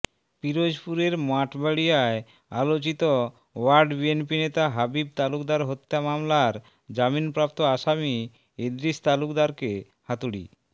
পিরোজপুরের মঠবাড়িয়ায় আলোচিত ওয়ার্ড বিএনপি নেতা হাবিব তালুকদার হত্যা মামলার জামিনপ্রাপ্ত আসামি ইদ্রিস তালুকদারকে হাতুড়ি